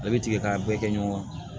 A' bɛ tigɛ k'a bɛɛ kɛ ɲɔgɔn kan